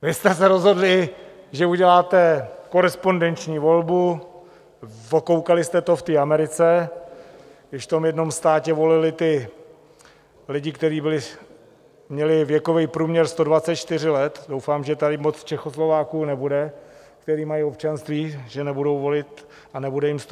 Vy jste se rozhodli, že uděláte korespondenční volbu, okoukali jste to v té Americe, když v tom jednom státě volili ti lidi, kteří měli věkový průměr 124 let, doufám, že tady moc Čechoslováků nebude, kteří mají občanství, že nebudou volit a nebude jim 124 let.